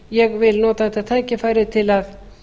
ég vil nota þetta tækifæri til að